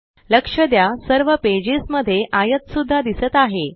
लक्ष द्या सर्व पेजेस मध्ये आयत सुद्धा दिसत आहे